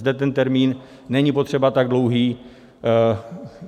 - Zde ten termín není potřeba tak dlouhý.